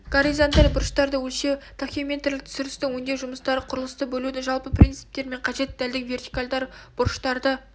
горизонталь бұрыштарды өлшеу тахеометрлік түсірістің өңдеу жұмыстары құрылысты бөлудің жалпы принципі мен қажетті дәлдігі вертикаль бұрыштарды